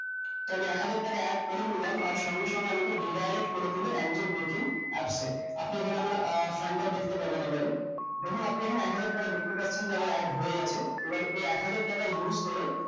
তাহলে এক হাজার টাকা add করে নিলাম আর সঙ্গে সঙ্গে আমাদের di~direct করে দিলে angel baking আসছে আপনি এখানে আমরা আহ fund টাও দেখতে পাবেন আবারো দেখুন আপনি এখানে এক হাজার টাকা দেখতে পাচ্ছেন যে আমার add হয়ে গেছে এবার এই এক হাজার টাকার use করে